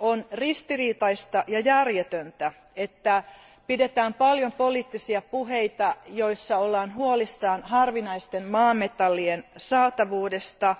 On ristiriitaista ja järjetöntä, että pidetään paljon poliittisia puheita, joissa ollaan huolissaan harvinaisten maametallien saatavuudesta,